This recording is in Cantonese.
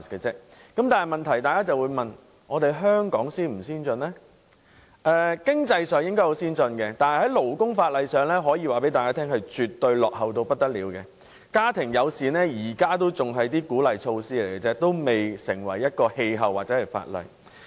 在經濟上，香港應屬先進地區，但在勞工法例上則可謂落後得不得了，即使是家庭友善政策也只是鼓勵措施而已，尚未成氣候或法例。